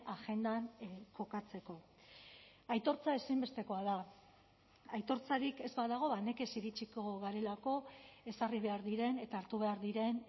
agendan kokatzeko aitortza ezinbestekoa da aitortzarik ez badago nekez iritsiko garelako ezarri behar diren eta hartu behar diren